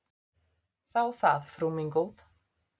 Þá það, frú mín góð.